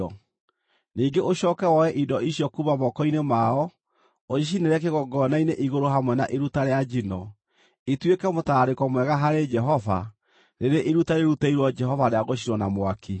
Ningĩ ũcooke woe indo icio kuuma moko-inĩ mao, ũcicinĩre kĩgongona-inĩ igũrũ hamwe na iruta rĩa njino, ituĩke mũtararĩko mwega harĩ Jehova, rĩrĩ iruta rĩrutĩirwo Jehova rĩa gũcinwo na mwaki.